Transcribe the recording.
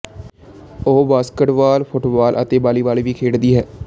ਉਹ basketball football ਅਤੇ volleyball ਵੀ ਖੇਡਦੀ ਹੈ